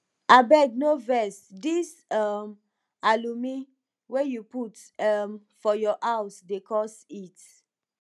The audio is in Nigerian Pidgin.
abeg no vex dis um alumi wey you put um for your house dey cause heat